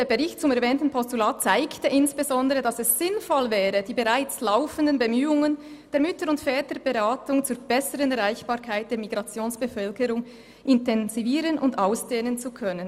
«Der Bericht zum erwähnten Postulat zeigt insbesondere, dass es sinnvoll wäre, die bereits laufenden Bemühungen der Mütter- und Väterberatung zur besseren Erreichbarkeit der Migrationsbevölkerung intensivieren und ausdehnen zu können.